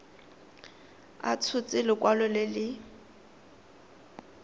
a tshotse lekwalo le le